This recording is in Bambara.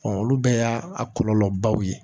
olu bɛɛ y'a kɔlɔlɔbaw ye